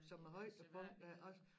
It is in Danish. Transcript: Som er højdepunkter også